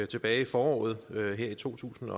tilbage i foråret to tusind